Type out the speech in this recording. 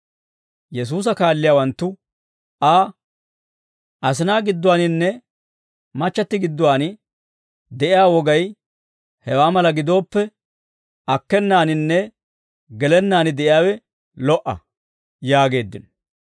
Yesuusa kaalliyaawanttu Aa, «Asinaa gidduwaaninne machchatti gidduwaan de'iyaa wogay hewaa mala gidooppe, akkenaaninne gelennaan de'iyaawe lo"a» yaageeddino.